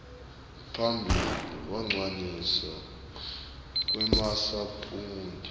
phambili kucwaningwa kwemasampuli